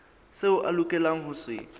seo a lokelang ho se